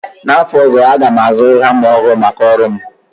N'afọ ozọ, aga m azụ hama ọhụrụ maka ọrụ m